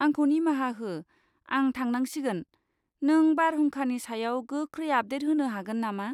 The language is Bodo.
आंखौ निमाहा हो, आं थांनांसिगोन, नों बारहुंखानि सायाव गोख्रै आपडेट होनो हागोन नामा?